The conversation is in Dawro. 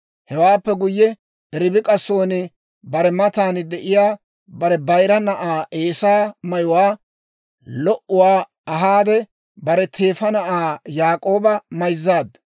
Hewaappe guyye, Ribik'a son bare matan de'iyaa bare bayira na'aa Eesaa mayuwaa lo"uwaa ahaade, bare teefa na'aa Yaak'ooba mayzzaaddu.